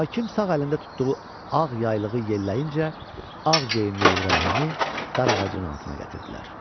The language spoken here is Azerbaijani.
Hakim sağ əlində tutduğu ağ yaylığı yelləyincə, ağ geyimli İbrahimi dar ağacının altına gətirdilər.